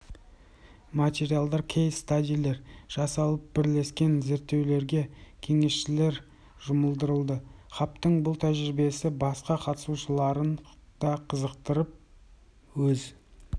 материалдар кейс-стадилер жасалып бірлескен зерттеулерге кеңесшілер жұмылдырылды хабтың бұл тәжірибесі басқа қатысушыларын да қызықтырып өз